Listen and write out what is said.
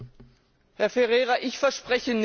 Herr Ferreira, ich verspreche nichts.